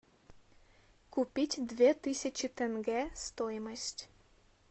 купить две тысячи тенге стоимость